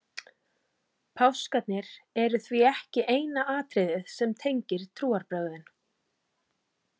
páskarnir eru því ekki eina atriðið sem tengir trúarbrögðin